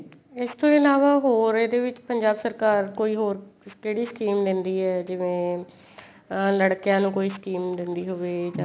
ਇਸ ਤੋਂ ਇਲਾਵਾ ਹੋਰ ਇਹਦੇ ਵਿੱਚ ਪੰਜਾਬ ਸਰਕਾਰ ਕੋਈ ਹੋਰ ਕਿਹੜੀ scheme ਦੇਂਦੀ ਏ ਜਿਵੇਂ ਅਹ ਲੜਕਿਆ ਨੂੰ ਕੋਈ scheme ਦੇਂਦੀ ਹੋਵੇ ਜਾਂ